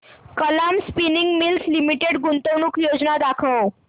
Kalam Spinning Mills Limited गुंतवणूक योजना दाखव